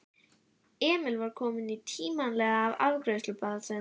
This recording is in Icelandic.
Emil var kominn tímanlega í afgreiðslu blaðsins.